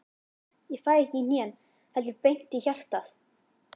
Ég fæ ekki í hnén, heldur beint í hjartað.